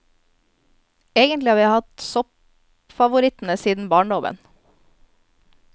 Egentlig har vi hatt soppfavorittene siden barndommen.